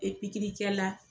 E pikiri kɛ la